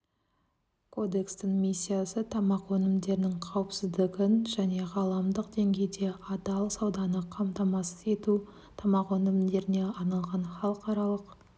кодекстің миссиясы тамақ өнімдерінің қауіпсіздігін және ғаламдық деңгейде адал сауданы қамтамасыз ету тамақ өнімдеріне арналған халықаралық